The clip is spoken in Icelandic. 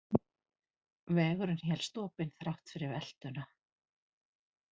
Vegurinn hélst opinn þrátt fyrir veltuna